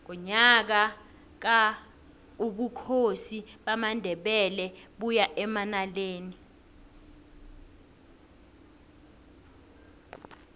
ngonyaka ka ubukhosi bamandebele baya emanaleli